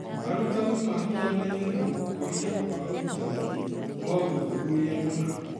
Arutani mahianaine na gũkũria kwa ũrutani (mothuthuria mana)